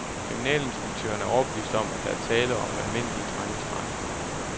Kriminalinspektøren er overbevist om, at der er tale om almindelige drengestreger.